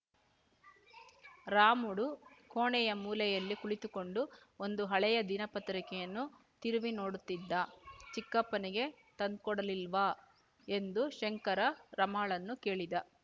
ರಾಮುಡು ಕೋಣೆಯ ಮೂಲೆಯಲ್ಲಿ ಕುಳಿತುಕೊಂಡು ಒಂದು ಹಳೆಯ ದಿನಪತ್ರಿಕೆಯನ್ನು ತಿರುವಿ ನೋಡುತ್ತಿದ್ದ ಚಿಕ್ಕಪ್ಪನಿಗೆ ತಂದ್ಕೊಡ್ಲಿಲ್ಲವಾ ಎಂದು ಶಂಕರ ರಮಾಳನ್ನು ಕೇಳಿದ